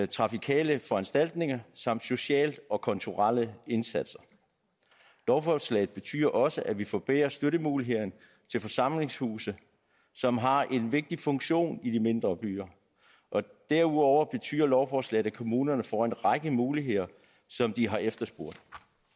trafikale foranstaltninger samt sociale og kulturelle indsatser lovforslaget betyder også at vi forbedrer støttemulighederne til forsamlingshuse som har en vigtig funktion i de mindre byer og derudover betyder lovforslaget at kommunerne får en række muligheder som de har efterspurgt